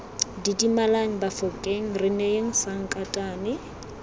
didimalang bafokeng re neyeng sankatane